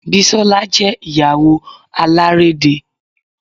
Bisola jẹ́ Ìyàwó alárédè